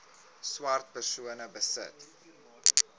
swart persone besit